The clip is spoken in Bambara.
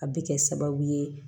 A bɛ kɛ sababu ye